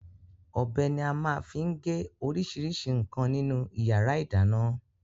Ọbẹ̀ ni a máa ń fi gé oríṣiríṣi nǹkan nínú ìyàrá-ìdáná.